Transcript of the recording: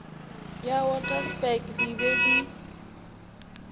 ya waterberg di be di